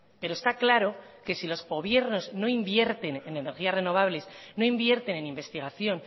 pero está claro que si los gobiernos no invierten en energías renovables no invierten en investigación